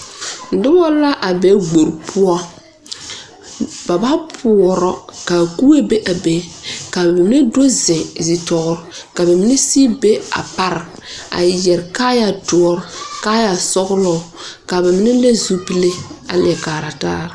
Noba la a be gbori poɔ. Ba ba poɔrɔ. ka kubo be a be, kaa wonnee do zeŋ zitɔɔre ka ba mine sigi be a pare, a yɛre kaaya doɔr, kaaya sɔglɔ, kaa ba mine le zupile a leɛ kaara taa.